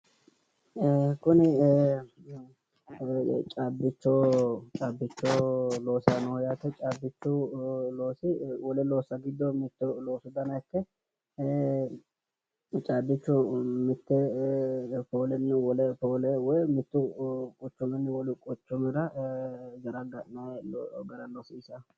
Kuni caabbicho loosayi nooho yaate. Caabbichu loosi wole loossa giddo mitto loosu dana ikke caabbicho mitte poolenni wole poole woyi mittu quchuminni wole quchumira zaraga'nayi gara loosiisanno.